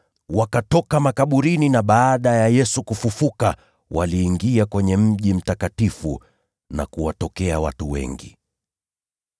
Wakatoka makaburini, na baada ya Yesu kufufuka, waliingia kwenye Mji Mtakatifu na kuwatokea watu wengi.